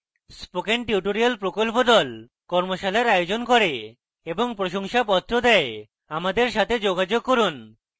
spoken tutorial প্রকল্প the কর্মশালার আয়োজন করে এবং প্রশংসাপত্র the আমাদের সাথে যোগাযোগ করুন